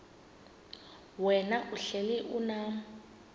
wena uhlel unam